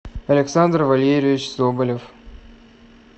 александр вальерьевич соболев